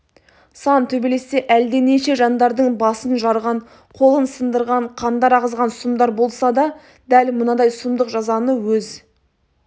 сан төбелесте әлденеше жандардың басын жарған қолын сындырған қандар ағызған сұмдар болса да дәл мынадай сұмдық жазаны өз